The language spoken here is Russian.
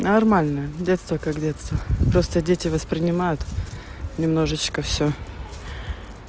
нормально детство как детство просто дети воспринимают немножечко всё